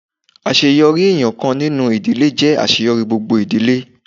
Àṣeyọrí ẹnìkan nínú ìdílé jẹ́ àṣeyọrí gbogbo ìdílé.